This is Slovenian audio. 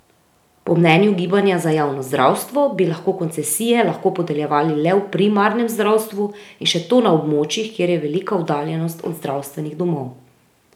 Po mnenju gibanja za javno zdravstvo bi lahko koncesije lahko podeljevali le v primarnem zdravstvu in še to na območjih, kjer je velika oddaljenost od zdravstvenih domov.